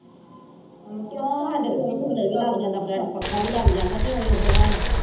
ਸਾਡੇ ਪੱਖਾ ਵੀ ਲੱਗ ਜਾਂਦਾ, ਉਹੀ ਹਾਲ ਏ।